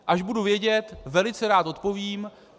Až budu vědět, velice rád odpovím.